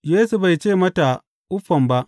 Yesu bai ce mata uffam ba.